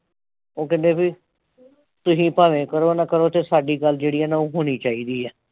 ਉਹ ਕਹਿੰਦੇ ਬਈ ਤੁਸੀਂ ਭਾਵੇਂ ਕਰੋ ਨਾ ਕਰੋ ਤੇ ਸਾਡੀ ਗੱਲ ਜਿਹੜੀ ਆ ਨਾ ਉਹ ਹੋਣੀ ਚਾਹੀਦੀ ਆ।